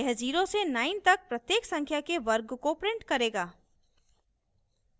यह 0 से 9 तक प्रत्येक संख्या के वर्ग को print करेगा